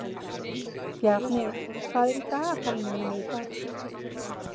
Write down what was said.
Bjarni, hvað er í dagatalinu mínu í dag?